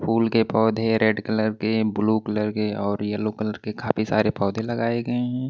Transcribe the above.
फूल के पौधे red colour के ब्लू कलर के और येलो कलर के खाफी सारे पौधे लगाए गए हैं।